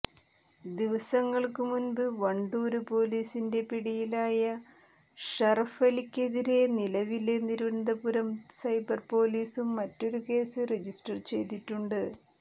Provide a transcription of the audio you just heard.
ദിവസങ്ങള്ക്കു മുമ്പ് വണ്ടൂര് പോലീസിന്റെ പിടിയിലായ ഷറഫലിക്കെതിരെ നിലവില് തിരുവനന്തപുരം സൈബര്പോലീസും മറ്റൊരു കേസ് രജിസ്റ്റര്ചെയ്തിട്ടുണ്ട്